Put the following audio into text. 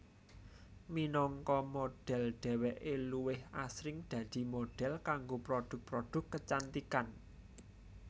Minangka modhel dheweké luwih asring dadi modhel kanggo produk produk kecantikan